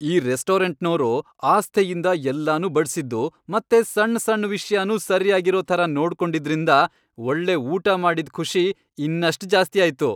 ಈ ರೆಸ್ಟೋರಂಟ್ನೋರು ಆಸ್ಥೆಯಿಂದ ಎಲ್ಲನೂ ಬಡ್ಸಿದ್ದು ಮತ್ತೆ ಸಣ್ ಸಣ್ ವಿಷ್ಯನೂ ಸರ್ಯಾಗಿರೋ ಥರ ನೋಡ್ಕೊಂಡಿದ್ರಿಂದ ಒಳ್ಳೆ ಊಟ ಮಾಡಿದ್ ಖುಷಿ ಇನ್ನಷ್ಟ್ ಜಾಸ್ತಿ ಆಯ್ತು.